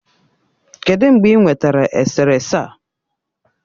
Kedụ mgbe ị nwetara eserese a?